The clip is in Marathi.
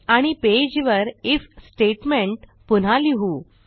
आणि पेजवर आयएफ स्टेटमेंट पुन्हा लिहू